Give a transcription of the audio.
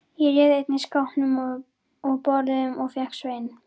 Ég réð einnig skápum og borðum og fékk Svein